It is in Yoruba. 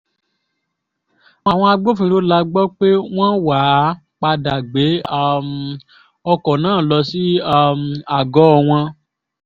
àwọn agbófinró la gbọ́ pé wọ́n wàá padà gbé um ọkọ̀ náà lọ sí um àgọ́ wọn